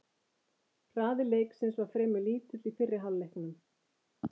Hraði leiksins var fremur lítill í fyrri hálfleiknum.